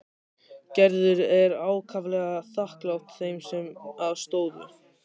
Gerður er ákaflega þakklát þeim sem að stóðu.